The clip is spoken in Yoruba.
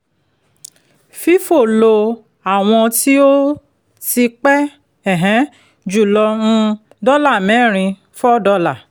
fifo lo àwọn tí ó ti pẹ́ um jùlọ um dọ́là mẹ́rin ($4)